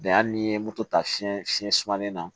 Bɛn hali ni ye moto ta fiɲɛ fiɲɛ sumalen na